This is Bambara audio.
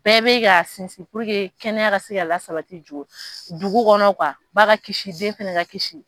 Bɛɛ bɛ ka sinsin kɛnɛya ka se ka la sabati jo dugu kɔnɔ ba ka kisi den fɛnɛ ka kisi.